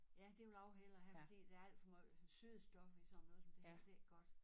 Ja det vil jeg også hellere have for der er alt for meget sødestof i sådan noget som det der det ikke godt